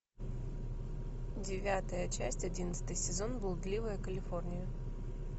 девятая часть одиннадцатый сезон блудливая калифорния